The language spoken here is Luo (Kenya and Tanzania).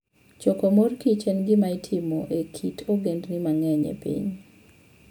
Choko mor kich en gima itimo e kit ogendini mang'eny e piny.